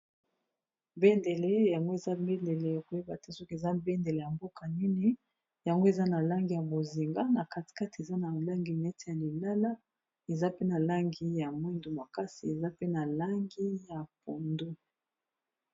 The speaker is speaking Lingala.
Bendele yango eza bendele koyeba te soki eza bendele ya mboka nini yango eza na langi ya bozinga na kati kati eza na langi neti ya lilala eza pe na langi ya mwindu makasi eza pe na langi ya pondu.